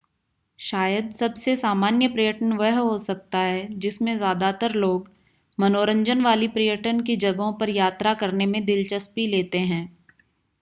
शायद सबसे सामान्य पर्यटन वह हो सकता जिसमें ज़्यादातर लोग मनोरंजन वाली पर्यटन की जगहों पर यात्रा करने में दिलचस्पी लेते हैं